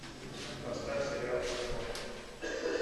поставь сериал чернобыль